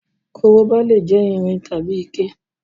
Korobá lè yé irin tàbí ike